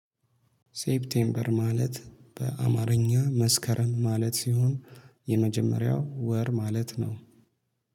ሴፕቴምበር ማለት በአማርኛ መስከረም ማለት ሲሆን የመጀመሪያው ወር ማለት ነው